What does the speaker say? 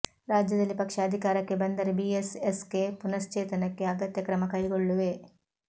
ರಾಜ್ಯದಲ್ಲಿ ಪಕ್ಷ ಅಧಿಕಾರಕ್ಕೆ ಬಂದರೆ ಬಿಎಸ್ಎಸ್ಕೆ ಪುನಶ್ಚೇತನಕ್ಕೆ ಅಗತ್ಯ ಕ್ರಮ ಕೈಗೊಳ್ಳುವೆ